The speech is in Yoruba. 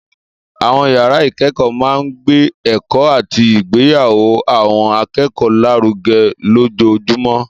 Àwọn yàrá ìkẹ́kọ̀ọ́ máa ń gbé ẹ̀kọ́ àti ìgbéyàwó àwọn akẹ́kọ̀ọ́ lárugẹ lójoojúmọ́.